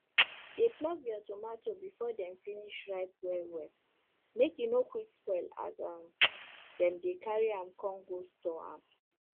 dey pluck your tomato before dem finish ripe well well make e no quick spoil as um dem dey carry am con go store am